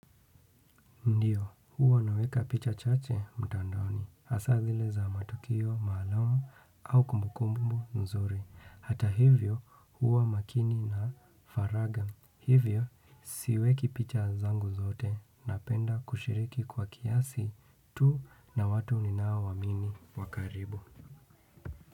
Ndiyo huwa naweka picha chache mtandaoni hasaa zile za matukio maalum au kumbukumbu nzuri hata hivyo huwa makini na faragha hivyo siweki picha zangu zote napenda kushiriki kwa kiasi tu na watu ninaowaamini wakaribu.